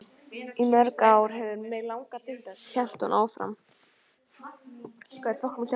Í mörg ár hefur mig langað til þess, hélt hún áfram.